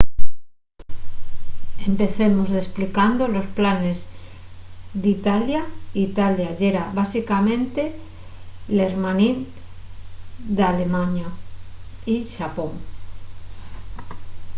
empecemos desplicando los planes d'italia italia yera básicamente l'hermanín d'alemaña y xapón